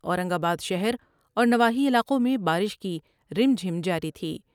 اورنگ آبادشہراور نواحی علاقوں میں بارش کی رم جھم جاری تھی ۔